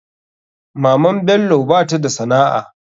Maman bello bata da sana'a.